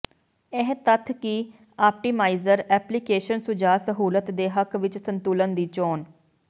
ਇਹ ਤੱਥ ਕਿ ਆਪਟੀਮਾਈਜ਼ਰ ਐਪਲੀਕੇਸ਼ਨ ਸੁਝਾਅ ਸਹੂਲਤ ਦੇ ਹੱਕ ਵਿਚ ਸੰਤੁਲਨ ਦੀ ਚੋਣ